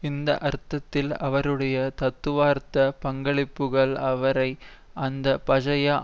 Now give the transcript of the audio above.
இந்த அர்த்தத்தில் அவருடைய தத்துவார்த்த பங்களிப்புகள் அவரை அந்த பழைய